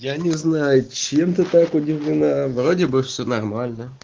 я не знаю чем ты так удивлена вроде бы всё нормально